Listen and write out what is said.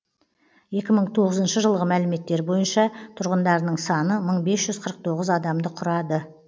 екі мың тоғызыншы жылғы мәліметтер бойынша тұрғындарының саны мың бес жүз қырық тоғыз адамды құрады